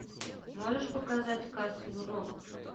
можешь показать касл рок